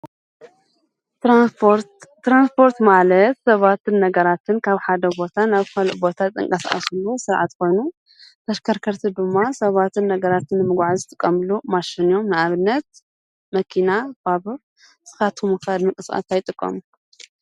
ተራንስጶርት ማለት ሰባትን ነገራትን ካብ ሓደ ቦታ ናብ ካልእ ቦታዝንቀስኣሱሉ ሥርዓት ኮኑ ተሽከርከርቲ ድማ ሰባትን ነገራትን ምጕዓ ዝትቐምሉ ማሽንዮም ንኣብነት መኪና፣ ባቡር ንስኻቱሙኸድ ንምንቅስቃስ ኣይጥቖም?